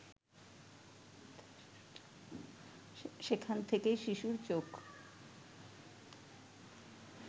সেখান থেকেই শিশুর চোখ